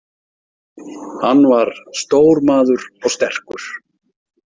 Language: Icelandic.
Hann var stór maður og sterkur.